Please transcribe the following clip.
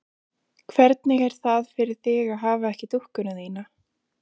Höskuldur Kári: Minnsta kosti þrjátíu prósent?